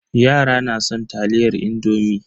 Yara na son taliyar indomi.